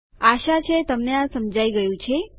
આશા છે તમને આ સમજાય ગયું છે